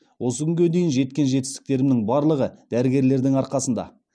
осы күнге дейін жеткен жетістіктерімнің барлығы дәрігерлердің арқасында